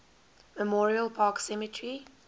memorial park cemetery